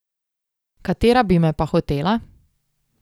Katera bi me pa hotela?